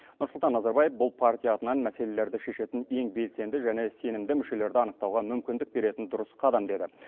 нұрсұлтан назарбаев бұл партия атынан мәселелерді шешетін ең белсенді және сенімді мүшелерді анықтауға мүмкіндік беретін дұрыс қадам деді